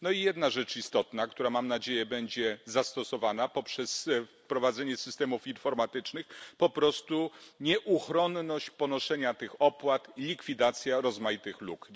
No i jedna rzecz istotna, która mam nadzieję będzie zastosowana poprzez wprowadzenie systemów informatycznych, po prostu nieuchronność ponoszenia tych opłat, likwidacja rozmaitych luk.